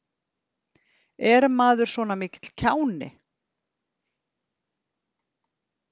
Er maður svona mikill kjáni?